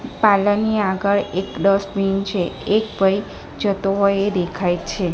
Parlour ની આગળ એક ડસ્ટબિન છે એક ભઈ જતો હોય એ દેખાય છે.